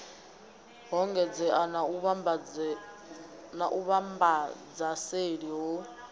ho engedzeaho na vhuvhambadzaseli ho